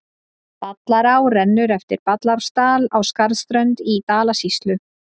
Ballará rennur eftir Ballarárdal á Skarðsströnd í Dalasýslu.